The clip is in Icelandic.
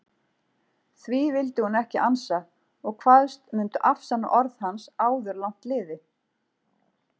Því vildi hún ekki ansa og kvaðst mundu afsanna orð hans áður langt liði.